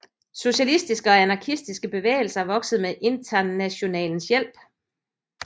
Socialistiske og anarkistiske bevægelser voksede med Internationalens hjælp